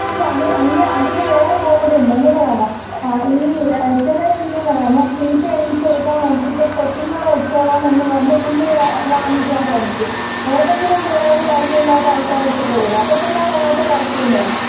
ഇല്ല അതിന് അയിന് അതില് വേറെ കോമഡിയുണ്ട്. എന്തെന്നറിയാമോ? ഈ ചിലർ എന്ത്യ്യും ന്ന് അറിയാമോ? സീറ്റ് എണീച്ച് കൊടുക്കാൻ മടിച്ചിട്ട് കൊച്ചുങ്ങളെ വെച്ചോളാം എന്ന് പറഞ്ഞ് കുഞ്ഞുങ്ങളെ വാങ്ങിക്കാൻ ശ്രമിക്കും. ഏതെങ്കിലും പിള്ളാര് പരിചയമില്ലാത്ത ആൾക്കാരെരുത്ത് പോവോ? അപ്പോ പിള്ളാര് അങ്ങോട്ട് കരച്ചിലും തൊടങ്ങും.